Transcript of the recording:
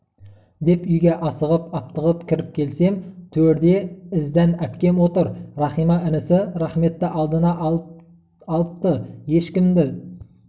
деп үйге асығып-аптығып кіріп келсем төрде іздән әпкем отыр рахима інісі рахметті алдына алып алыпты ешкімді